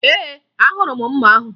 Ee, ahụrụ m mma ahụ